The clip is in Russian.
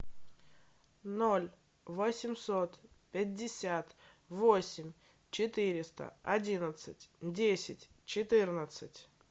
ноль восемьсот пятьдесят восемь четыреста одиннадцать десять четырнадцать